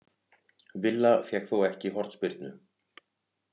Villa fékk þó ekki hornspyrnu